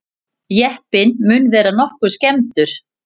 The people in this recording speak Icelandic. Jeppinn mun vera nokkuð skemmdur